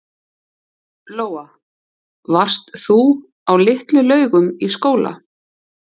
Lóa: Varst þú á Litlu-Laugum í skóla?